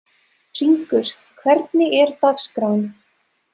Hringur, hvernig er dagskráin?